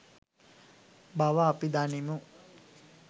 බව අපි දනිමු.